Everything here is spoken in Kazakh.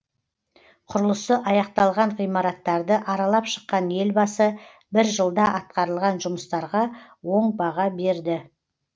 құрылысы аяқталған ғимараттарды аралап шыққан елбасы бір жылда атқарылған жұмыстарға оң баға берді